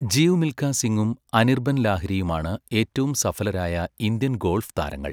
ജീവ് മിൽഖാ സിങ്ങും അനിർബൻ ലാഹിരിയും ആണ് ഏറ്റവും സഫലരായ ഇന്ത്യൻ ഗോൾഫ് താരങ്ങൾ.